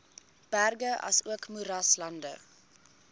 berge asook moeraslande